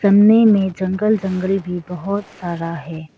सामने मे जंगल जंगल भी बहोत सारा है।